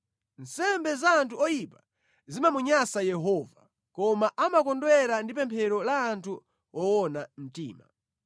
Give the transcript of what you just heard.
Nsembe za anthu oyipa zimamunyansa Yehova, koma amakondwera ndi pemphero la anthu owona mtima.